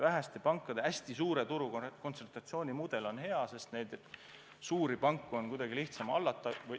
Väheste pankade hästi suure turukontsentratsiooni mudel on hea, sest suuri panku on kuidagi lihtsam hallata.